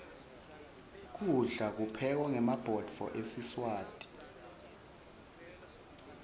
kudla kuphekwa ngemabhodo esiswati